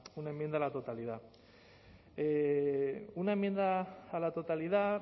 una enmienda a la totalidad una enmienda a la totalidad